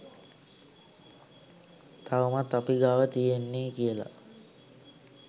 තවමත් අපි ගාව තියෙන්නේ කියලා.